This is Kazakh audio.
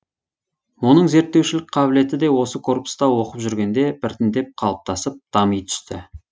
оның зерттеушілік қабілеті де осы корпуста оқып жүргенде біртіндеп қалыптасып дами түсті